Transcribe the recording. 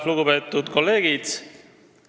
Lugupeetud kolleegid!